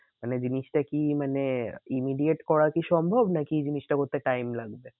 মানে জিনিসটা কি মানে immediate করা কি সম্ভব নাকি জিনিসটা করতে time লাগবে?